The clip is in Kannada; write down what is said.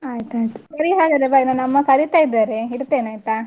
ಆಯ್ತಯ್ತು ಸರಿ ಹಾಗಾದ್ರೆ bye ನನ್ನ ಅಮ್ಮ ಕರಿತಾ ಇದ್ದಾರೆ ಇಡ್ತೇನೆ ಆಯ್ತಾ?